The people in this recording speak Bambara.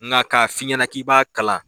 Nka ka f'i ɲɛna k'i b'a kalan